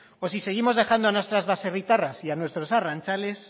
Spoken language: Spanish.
o si seguimos dejando a nuestras baserritarras y a nuestros arrantzales